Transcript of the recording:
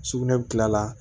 Sugunɛ bɛ kila la